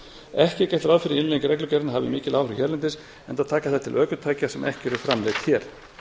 ekki er gert ráð fyrir innleiðing reglugerðarinnar hafi mikil áhrif hérlendis enda taka þær til ökutækja sem ekki eru framleidd hér